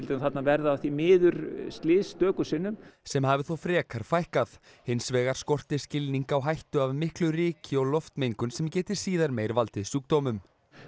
þarna verða því miður slys stöku sinnum sem hafi þó frekar fækkað hins vegar skorti skilning á hættu af miklu ryki og loftmengun sem geti síðar meir valdið sjúkdómum